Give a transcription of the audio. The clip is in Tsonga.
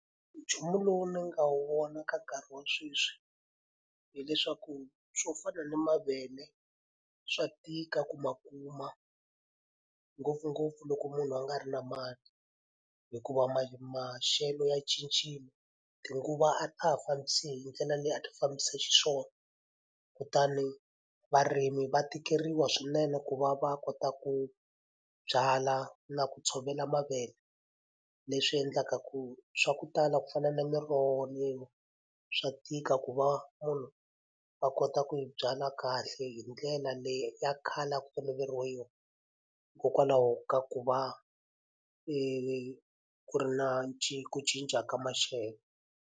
Nchumu lowu ni nga wu vona ka nkarhi wa sweswi hileswaku swo fana na mavele, swa tika ku ma kuma ngopfungopfu loko munhu a nga ri na mali. Hikuva maxelo ya cincile, tinguva a ta ha fambisi hi ndlela leyi a ti fambisa xiswona, kutani varimi va tikeriwa swinene ku va va kota ku byala na ku tshovela mavele. Leswi endlaka ku swa ku tala ku fana na miroho leyiwa swa tika ku va munhu a kota ku yi byala kahle hi ndlela leyi ya khale a ku toloveriwe yona hikokwalaho ka ku va ku ri na ku cinca ka maxelo.